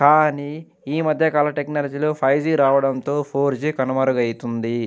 కానీ ఈ మధ్యకాల టెక్నాలజీ లో ఫైవ్ జి రావడంతో ఫోర్ జి కనుమరుగైతుంది.